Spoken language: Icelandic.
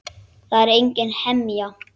Það er engin hemja.